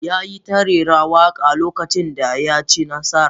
ya yi ta rera waka lokacin da ya ci nasara